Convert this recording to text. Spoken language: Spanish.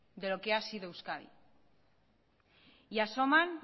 de lo que ha sido euskadi y asoman